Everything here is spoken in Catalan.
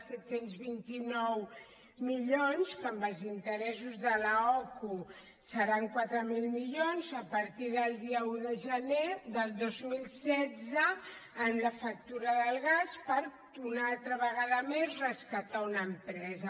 set cents i vint nou milions que amb els interessos de l’ocu seran quatre mil milions a partir del dia un de gener del dos mil setze amb la factura del gas per una altra vegada més rescatar una empresa